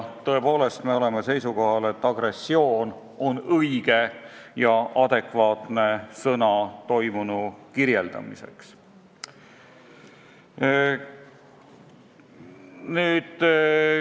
Tõepoolest, me oleme seisukohal, et "agressioon" on õige ja adekvaatne sõna toimunu kirjeldamiseks.